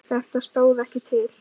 Þetta stóð ekkert til.